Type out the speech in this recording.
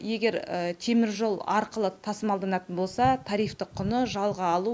егер теміржол арқылы тасымалданатын болса тарифтік құны жалға алу